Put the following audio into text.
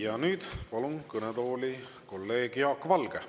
Ja nüüd palun kõnetooli kolleeg Jaak Valge.